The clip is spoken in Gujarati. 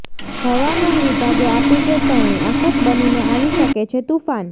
હવામાન વિભાગે આપી ચેતવણી આફત બનીને આવી શકે છે તૂફાન